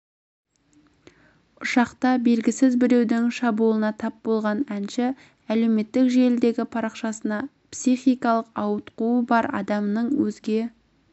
ұшақта белгісіз біреудің шабуылына тап болған әнші әлеуметтік желідегі парақшасына психикалық ауытқуы бар адамның өзге